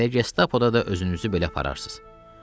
Elə Gestapoda da özünüzü belə apararsız.